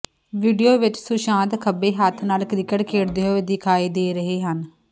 video ਵਿੱਚ ਸੁਸ਼ਾਂਤ ਖੱਬੇ ਹੱਥ ਨਾਲ ਕ੍ਰਿਕਟ ਖੇਡਦੇ ਹੋਏ ਦਿਖਾਈ ਦੇ ਰਹੇ ਹਨ